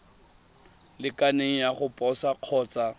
lekaneng ya go posa kgotsa